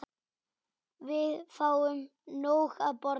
Við fáum nóg að borða.